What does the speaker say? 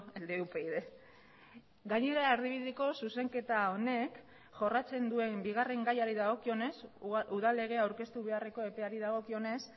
el de upyd gainera erdibideko zuzenketa honek jorratzen duen bigarren gaiari dagokionez udal legea aurkeztu beharreko epeari dagokionez